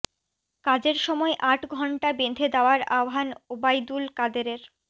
কাজের সময় আট ঘণ্টা বেঁধে দেওয়ার আহ্বান ওবায়দুল কাদেরের